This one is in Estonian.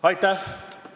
Aitäh!